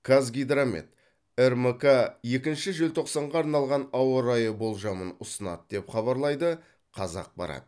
қазгидромет рмк екінші желтоқсанға арналған ауа райы болжамын ұсынады деп хабарлайды қазақпарат